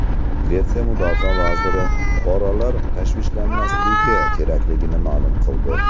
Gretsiya mudofaa vaziri fuqarolar tashvishlanmasligi kerakligini ma’lum qildi.